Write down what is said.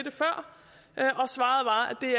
det